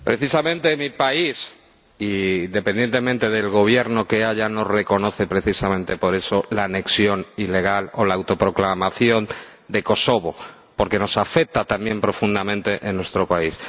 Precisamente mi país, independientemente del Gobierno que haya, no reconoce precisamente por eso la anexión ilegal o la autoproclamación de Kosovo porque nos afecta también profundamente en nuestro país.